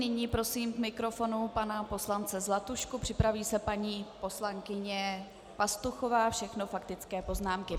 Nyní prosím k mikrofonu pana poslance Zlatušku, připraví se paní poslankyně Pastuchová, všechno faktické poznámky.